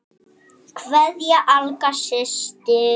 Kveðja, Agla systir.